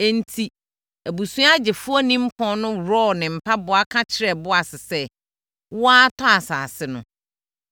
Enti, abusua gyefoɔ nimpɔn no worɔɔ ne mpaboa ka kyerɛɛ Boas sɛ, “Wo ara tɔ asase no.”